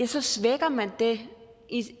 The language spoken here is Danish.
så svækker man det